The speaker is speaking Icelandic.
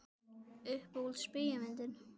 Uppáhalds bíómyndin?